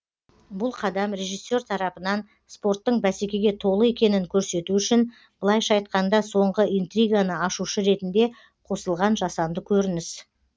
бұл қадам режиссер тарапынан спорттың бәсекеге толы екенін көрсету үшін былайша айтқанда соңғы интриганы ашушы ретінде қосылған жасанды көрініс